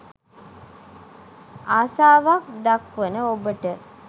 ආසාවක් දක්වන ඔබට